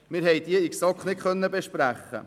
Diese konnten wir in der GSoK nicht besprechen.